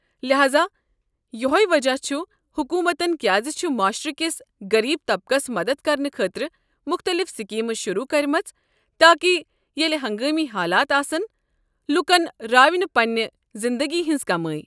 لحاذا یۄہے وجہ چھُ حکوٗمتن كیازِ چھِ معاشرٕ کس غریب طبقس مدتھ کرنہٕ خٲطرٕ مختلف سکیمہٕ شروٗع کرِمژٕ ، تاکہ ییلہٕ ہنگٲمی حالات آسن ، لوٗکن راوِ نہٕ پننہِ زِندگی ہٕنٛز كمٲے۔